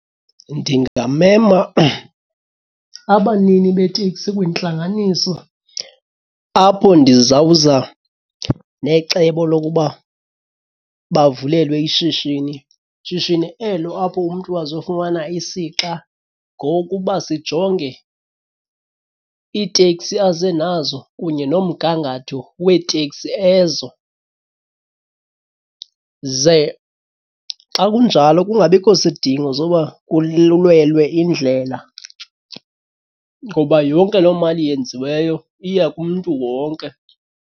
Ndingamema abanini beeteksi kwintlanganiso apho ndizawuza necebo lokuba bavulelwe ishishini. Shishini elo apho umntu azofumana isixa ngokuba sijonge iiteksi aze nazo kunye nomgangatho weetekisi ezo. Ze xa kunjalo kungabikho sidingo soba kululelwe indlela ngoba yonke loo mali yenziweyo iya kumntu wonke.